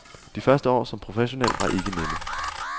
De første år som professionel var ikke nemme.